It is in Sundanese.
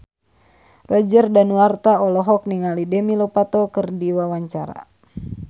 Roger Danuarta olohok ningali Demi Lovato keur diwawancara